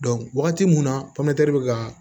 wagati mun na be ka